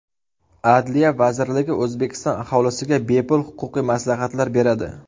Adliya vazirligi O‘zbekiston aholisiga bepul huquqiy maslahatlar beradi.